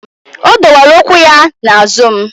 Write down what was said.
O dowere ụkwụ ya na azụ m